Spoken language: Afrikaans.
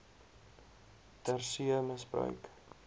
ter see misbruik